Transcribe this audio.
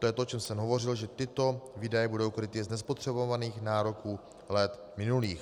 To je to, o čem jsem hovořil, že tyto výdaje budou kryty z nespotřebovaných nároků let minulých.